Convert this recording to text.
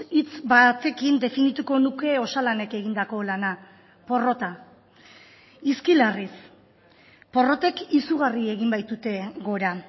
hitz batekin definituko nuke osalanek egindako lana porrota hizki larriz porrotek izugarri egin baitute gora